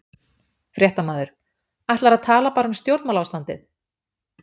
Fréttamaður: Ætlarðu að tala bara um stjórnmálaástandið?